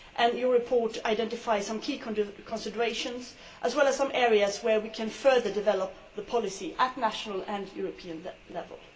Her report identifies some key considerations, as well as some areas where we can further develop policy at national and European level.